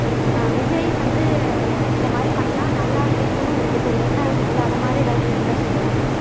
ஆஹ் விஜய் வந்து இது மாதிரி பண்ணா நல்லா இருக்கும்னு உங்களுக்கு ஒரு எண்ணம் இருக்கும்ல அது மாதிரி எதாவது இருந்தா சொல்லுங்க